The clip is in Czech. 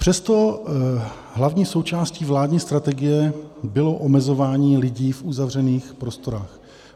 Přesto hlavní součástí vládní strategie bylo omezování lidí v uzavřených prostorách.